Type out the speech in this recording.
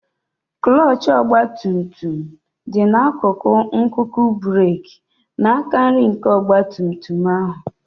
Klọọchị ọgba tum tum dị n'akụkụ nkuku breeki n'aka nri nke ọgba tum tum ahụ.